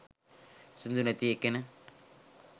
සින්දු නැති ඒකෙන